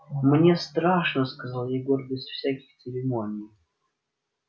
мне страшно сказал егор без всяких церемоний